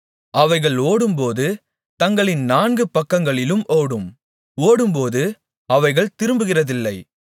அவைகள் ஓடும்போது தங்களின் நான்கு பக்கங்களிலும் ஓடும் ஓடும்போது அவைகள் திரும்புகிறதில்லை